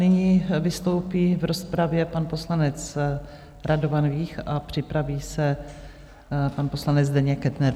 Nyní vystoupí v rozpravě pan poslanec Radovan Vích a připraví se pan poslanec Zdeněk Kettner.